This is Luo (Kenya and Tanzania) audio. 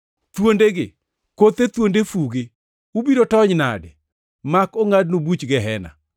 “Thuondegi! Kothe thuond fu-gi! Ubiro tony nade mak ongʼadnu buch Gehena?